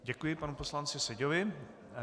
Děkuji panu poslanci Seďovi.